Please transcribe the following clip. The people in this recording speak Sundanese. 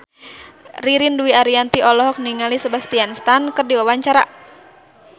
Ririn Dwi Ariyanti olohok ningali Sebastian Stan keur diwawancara